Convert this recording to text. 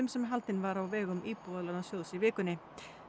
sem haldinn var á vegum Íbúðalánasjóðs í vikunni